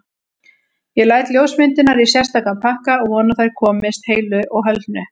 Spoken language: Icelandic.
Ég læt ljósmyndirnar í sérstakan pakka og vona að þær komist heilu og höldnu.